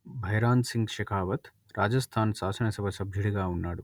భైరాన్‌సింగ్ షెకావత్ రాజస్థాన్ శాసనసభ సభ్యుడిగా ఉన్నాడు